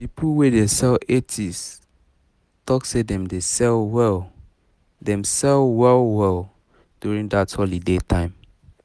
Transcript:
people wey dey sell etsy talk say them sell well them sell well well during that holiday time